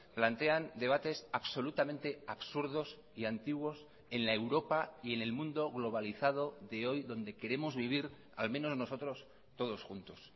plantean debates absolutamente absurdos y antiguos en la europa y en el mundo globalizado de hoy donde queremos vivir al menos nosotros todos juntos